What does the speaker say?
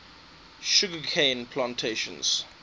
sugar cane plantations